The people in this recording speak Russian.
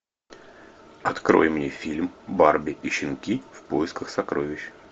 открой мне фильм барби и щенки в поисках сокровищ